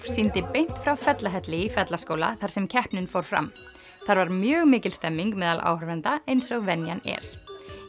sýndi beint frá Fellahelli í Fellaskóla þar sem keppnin fór fram þar var mjög mikil stemning meðal áhorfenda eins og venjan er